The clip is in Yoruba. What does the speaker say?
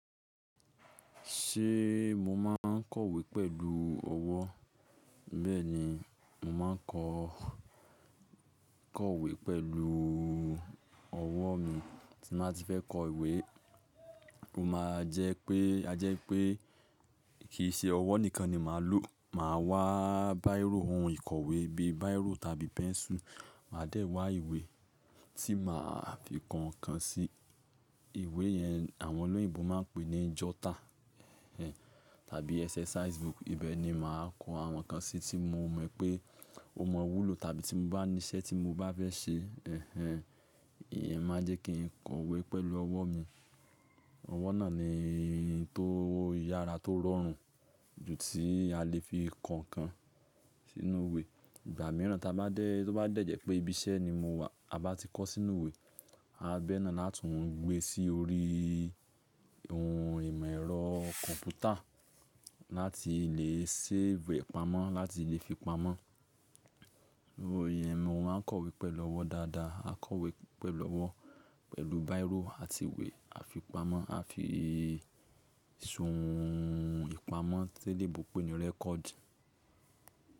Ṣé mo máa ń kọ̀wé pẹ̀lú ọwọ́? Bẹ́ẹ̀ni, mo máa ń koo kọ̀wé pẹ̀lú ọwọ́ mi tí màá ti fẹ́ kọ ìwé. Ó ma jẹ́ pé a jẹ́ pé kì í ṣe ọwọ́ nìkan ni màá lò. Màá wá báírò ohun ìkọ̀wé bí báírò tàbí pẹ́ńsù. Màá dẹ̀ wá ìwé tí màá fi kan nǹkan sí. Ìwé yẹn àwọn olóyìnbo máa ń pè ní jota tàbí exercise book. Ibẹ̀ ni màá kọ àwọn nǹkan sí tí mo mọ̀ pé ó mawu ló tàbí tí mo bá ní iṣẹ́ tí mo bá fẹ́ ṣe. Ẹ̀hẹn, ìyẹn máa jẹ́ kí n kọ̀wé pẹ̀lú ọwọ́ mi. Ọwọ́ náà ni tó yára tó rọrùn ju ti a lè fi kan nǹkan sínú ìwé. Ìgbà míràn tí ó bá dẹ̀jẹ́ pé ibi iṣẹ́ ni mo wà, a bá ti kọ sínú ìwé. A bá bẹ́ẹ̀ náà láti mú un gbé sí orí ohun ìmọ̀ ẹ̀rọ kọ̀m̀pútà láti lè save pamọ́, láti lè fi pamọ́. Ó yẹn mo máa ń kọ̀wé pẹ̀lú ọwọ́ dáadáa. Kọ̀wé pẹ̀lú ọwọ́, pẹ̀lú báírò àti ìwé. A fi pamọ́, a fi sun ìpamọ́ tí elebo pé ni record.